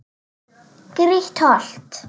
Grýtt holt.